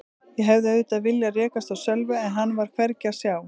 Ég hefði auðvitað viljað rekast á Sölva en hann var hvergi að sjá.